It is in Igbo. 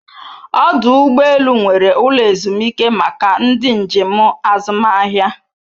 Ọdụ ụgbọ elu nwere ụlọ ezumike maka ndị njem azụmahịa